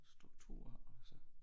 Og struktur og så